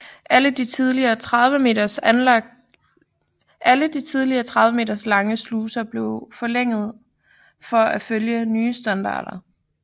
Alle de tidligere 30 meter lange sluser blev forlænget for at følge den nye standard